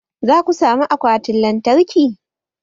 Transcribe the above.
Za ku sami akwatin lantarki?